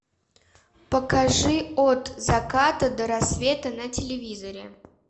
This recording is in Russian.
покажи от заката до рассвета на телевизоре